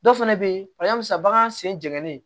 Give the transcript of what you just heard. Dɔw fɛnɛ be ye halisa bagan sen jene